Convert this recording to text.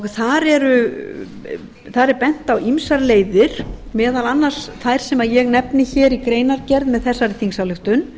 heilbrigðisvá sem offitan er þar er bent á ýmsar leiðir meðal annars þær sem ég nefni hér í greinargerð með þessari þingsályktun